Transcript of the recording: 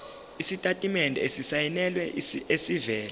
isitatimende esisayinelwe esivela